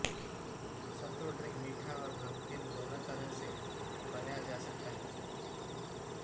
सत्तू drink मीठा आैर नमकीन दोनों तरह से बनाया जा सकता है